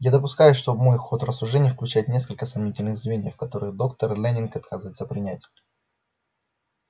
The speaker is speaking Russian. я допускаю что мой ход рассуждений включает несколько сомнительных звеньев которые доктор лэннинг отказывается принять